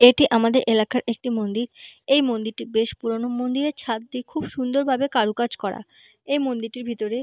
এটি আমাদের এলাকার একটি মন্দির এই মন্দিরটি বেশ পুরোনো মন্দিরের ছাদটি খুব সুন্দর ভাবে কারুকাজ করা এই মন্দিরটির ভেতরে--